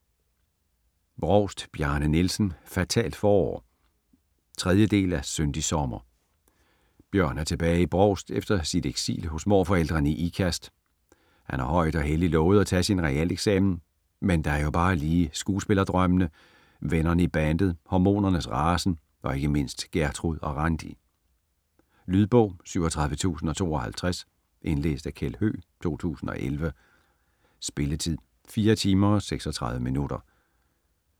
Brovst, Bjarne Nielsen: Fatalt forår 3. del af Syndig sommer. Bjørn er tilbage i Brovst efter sit eksil hos morforældrene i Ikast. Han har højt og helligt lovet at tage sin realeksamen, men der er jo bare lige skuespillerdrømmene, vennerne i bandet, hormonernes rasen og ikke mindst Gertrud og Randi. Lydbog 37052 Indlæst af Kjeld Høegh, 2001. Spilletid: 4 timer, 36 minutter.